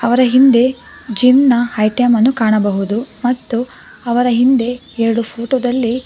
ಹಿಂದೆ ಜಿಮ್ ನ ಐಟಂ ಅನ್ನು ಕಾಣಬಹುದು ಮತ್ತು ಅವರ ಹಿಂದೆ ಎರಡು ಫೋಟೋ ದಲ್ಲಿ.